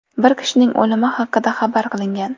Bir kishining o‘limi haqida xabar qilingan.